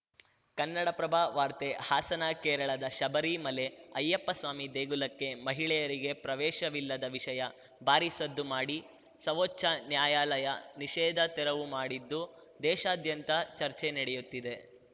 ಕನ್ನಡಪ್ರಭ ವಾರ್ತೆ ಹಾಸನ ಕೇರಳದ ಶಬರಿ ಮಲೆ ಅಯ್ಯಪ್ಪ ಸ್ವಾಮಿ ದೇಗುಲಕ್ಕೆ ಮಹಿಳೆಯರಿಗೆ ಪ್ರವೇಶವಿಲ್ಲದ ವಿಷಯ ಭಾರೀ ಸದ್ದು ಮಾಡಿ ಸವೋಚ್ಛ ನ್ಯಾಯಾಲಯ ನಿಷೇಧ ತೆರವು ಮಾಡಿದ್ದು ದೇಶಾದ್ಯಂತ ಚರ್ಚೆ ನಡೆಯುತ್ತಿದೆ